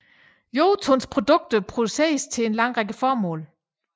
Jotuns produkter produceres til en lang række formål